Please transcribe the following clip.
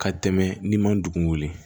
Ka tɛmɛ n'i ma dugun wuli